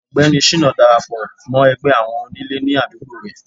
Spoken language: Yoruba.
ọgbẹni shina darapọ mọ ẹgbẹ àwọn onílè ní àdúgbò re